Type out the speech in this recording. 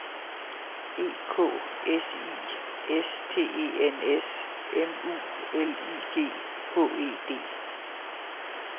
E K S I S T E N S M U L I G H E D